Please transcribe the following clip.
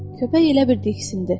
Köpək elə bildi ikisindi.